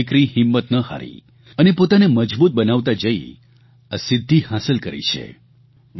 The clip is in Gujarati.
પરંતુ આ દિકરી હિંમત ન હારી અને પોતાને મજબૂત બનાવતા જઇ આ સિદ્ધિ હાંસલ કરી છે